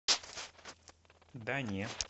да не